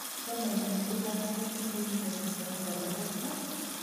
Toma itindoi lakwet eng kenyisiek sosom akotogosta?